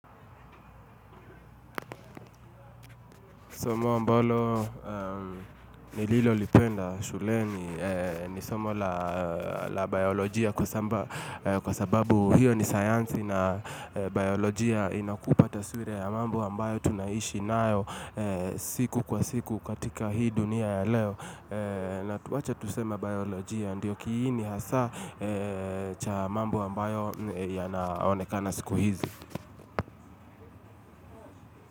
Somo mbalo nililo lipenda shuleni ni somo la biolojia kwa sababu hiyo ni sayansi na biolojia inakupa taswira ya mambo ambayo tunaishi nao siku kwa siku katika hii dunia ya leo. Natuwacha tusema biolojia ndiyo kiini hasa cha mambu ambayo yanaonekana siku hizi.